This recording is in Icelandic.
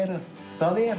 er